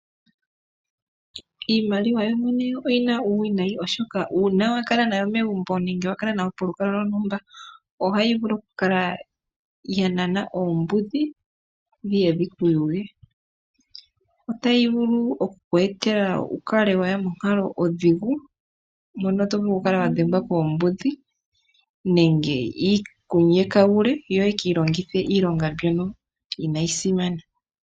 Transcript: Iimaliwa yoyene oyina uuwinayi oshoka ngele wakala nayo nenge pehala lyontumba , ohayi nana oombudhi dhiye dhiku yuge . Otayi vulu okukweetela wuye monkalo ondhigu ngaashi okukala wadhengwa koombudhi.